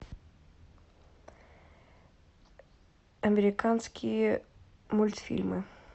американские мультфильмы